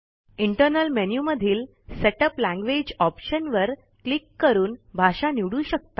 internal menu मधील setup language option वर click करून भाषा निवडू शकता